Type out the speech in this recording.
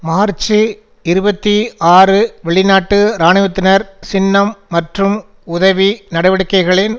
March இருபத்தி ஆறு வெளிநாட்டு இராணுவத்தினர் சின்னம் மற்றும் உதவி நடவடிக்கைகளின்